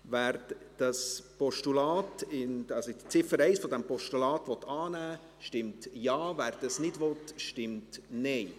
Wer die Ziffer 1 des Postulats annehmen will, stimmt Ja, wer dies nicht will, stimmt Nein.